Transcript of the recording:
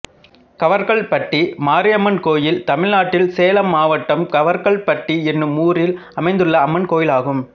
கவர்க்கல்பட்டி மாரியம்மன் கோயில் தமிழ்நாட்டில் சேலம் மாவட்டம் கவர்க்கல்பட்டி என்னும் ஊரில் அமைந்துள்ள அம்மன் கோயிலாகும்